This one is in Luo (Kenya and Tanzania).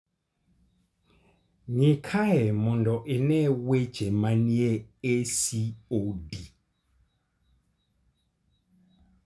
Ng'i kae mondo ine weche manie ACOD.